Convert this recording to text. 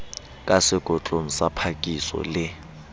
ka sekotlong sa phakiso le